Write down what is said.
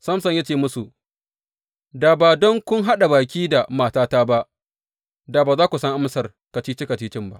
Samson ya ce musu, Da ba don kun haɗa baki da matata ba, da ba za ku san amsar kacici kacici ba.